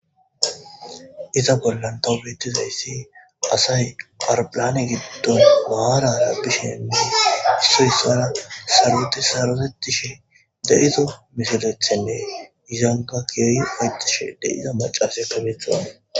Iza bola tobetishe dizaysi asay dene giddon marara dishe issoy issara sarotishe de'izo mishetethane kehi ufayetashe de'iza macasiya beyashe de'awuse